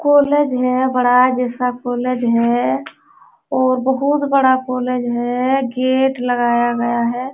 College है। बड़ा जैसा कॉलेज है और बोहोत बड़ा कॉलेज है। गेट लगाया गया है।